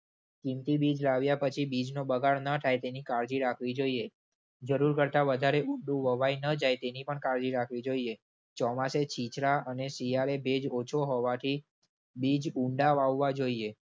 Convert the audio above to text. કીમતી બીજ લાવ્યા પછી બીજનો બગાડ ન થાય તેની કાળજી રાખવી જોઈએ. જરૂર કરતાં વધારે ઊંડું વવાઈ ન જાય તેની પણ કાળજી રાખવી જોઈએ. ચોમાસે છીંછરા અને શિયાળે ભેજ ઓછો હોવાથી બીજ ઉંડા વાવવા જોઈએ.